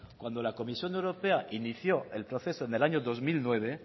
cuando la comisión europea inició el proceso en el año dos mil nueve